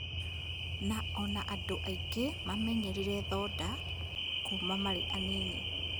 Na ona andũ angĩ mamenyerire thonda kuuma marĩ anini